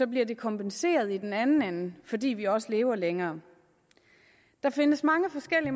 bliver de kompenseret i den anden ende fordi vi også lever længere der findes mange forskellige